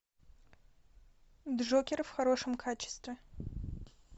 джокер в хорошем качестве